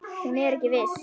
Hún er ekki viss.